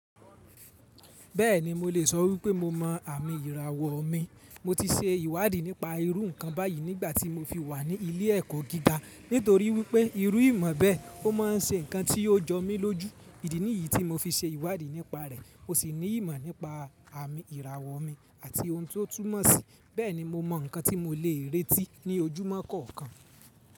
Bẹ́ẹ̀ni mo lè sọ wípé mo mọ àmì ìràwọ̀ mi. Mo ti ṣe ìwádìí nípa irú ǹkan báyìí nígbàtí mo fi wà ní ilé ẹ̀kọ́ gíga nítorí wípé irú ìmọ̀ bẹ́ẹ̀ ó ma ń ṣe ǹkan tí ó jọ mí lójú. Ìdí nìyí tí mo fi ṣe ìwádìí nípa rẹ̀ ó sì ní ìmọ̀ nípa àmì ìràwọ̀ mi àti ohun tó túnmọ̀ síi. Bẹ́ẹ̀ni mo mọ ǹkan tí mo lè retí ní ojúmọ́ kọ̀ọ̀kan.